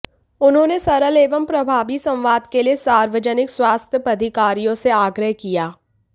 उनहोंने सरल एवं प्रभावी संवाद के लिए सार्वजनिक स्वास्थ्य पदाधिकारियों से आग्रह किया